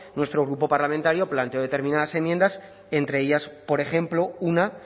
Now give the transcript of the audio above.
nuestro grupo parlamentario planteó determinadas enmiendas entre ellas por ejemplo una